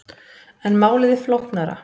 En málið er flóknara.